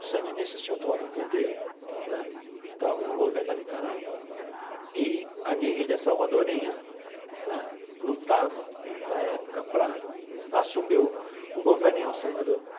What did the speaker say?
Os Sandinistas tinham tomado poder né, estavam no governo da Nicarágua, e a guerrilha salvadorenha né lutava na época para assumir o o governo em El Salvador.